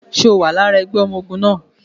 Ṣe o wà lára ẹgbẹ́ ọmọ ogun náà?